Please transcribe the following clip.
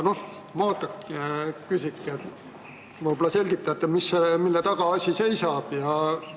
Ma küsingi nii: võib-olla selgitate, mille taga asi seisab?